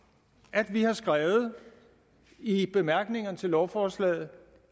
at vi har skrevet i bemærkningerne til lovforslaget